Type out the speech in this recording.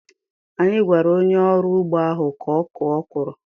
Anyị gwara onye ọrụ ugbo ahụ ka ọ kụọ okwuru.